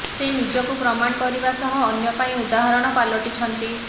ସେ ନିଜକୁ ପ୍ରମାଣ କରିବା ସହ ଅନ୍ୟ ପାଇଁ ଉଦାହରଣ ପାଲଟିଛନ୍ତି